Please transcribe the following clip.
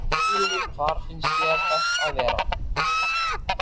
Hvar finnst þér best að vera?